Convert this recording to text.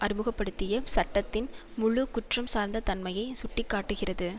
அறிமுக படுத்திய சட்டத்தின் முழு குற்றம்சார்ந்த தன்மையை சுட்டி காட்டுகிறது